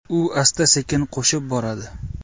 U asta-sekin qo‘shib boradi.